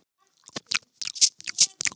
Ég er kannski eldri og klókari.